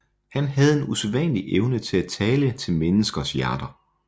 Han havde en usædvanlig evne til at tale til menneskers hjerter